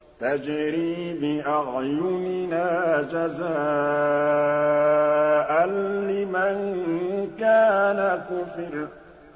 تَجْرِي بِأَعْيُنِنَا جَزَاءً لِّمَن كَانَ كُفِرَ